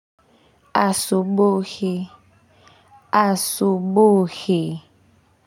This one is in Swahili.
Asubuhi asubuhi.